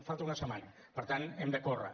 falta una setmana per tant hem de córrer